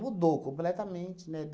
Mudou completamente, né?